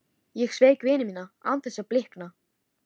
Ég sveik vini mína án þess að blikna.